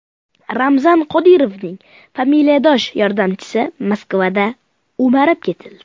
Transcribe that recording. Ramzan Qodirovning familiyadosh yordamchisi Moskvada o‘marib ketildi.